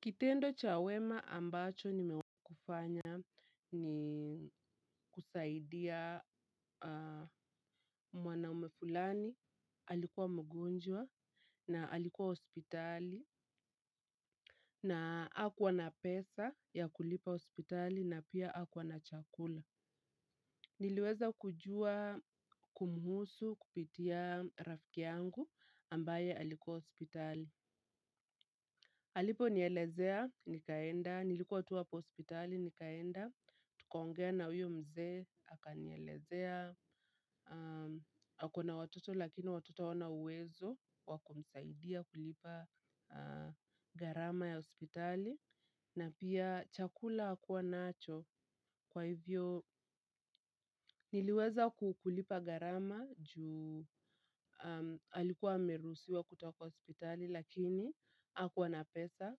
Kitendo cha wema ambacho nimewahikufanya ni kusaidia mwanaume fulani, alikuwa mgonjwa na alikuwa hospitali. Na hakuwa na pesa ya kulipa hospitali na pia hakuwa na chakula. Niliweza kujua kumhusu kupitia rafiki yangu ambaye alikuwa hospitali. Aliponielezea, nikaenda, nilikuwa tu hapo hospitali, nikaenda, tukaongea na huyo mzee, akanielezea, ako na watoto lakini watoto hawana uwezo, wa kumsaidia kulipa gharama ya hospitali. Na pia chakula hakuwa nacho kwa hivyo niliweza kulipa gharama ju alikuwa ameruhusiwa kutoka hospitali lakini hakuwa na pesa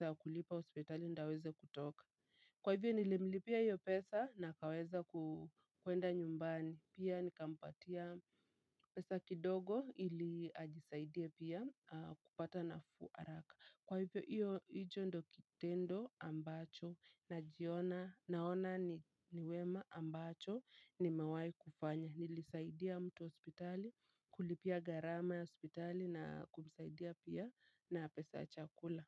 ya kulipa hospitali ndio aweze kutoka kwa hivyo nilimlipia hiyo pesa na akaweza kuenda nyumbani. Pia nikampatia pesa kidogo ili ajisaidie pia kupata nafuu haraka kwa hivyo hicho ndio kitendo ambacho naona niwema ambacho nimewahi kufanya. Nilisaidia mtu hospitali kulipia gharama ya hospitali na kumisaidia pia na pesa ya chakula.